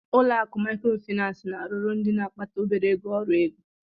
Ụlọ akụ Maịkrofịnansị na-arụrụ ndị na-akpata obere ego ọrụ ego.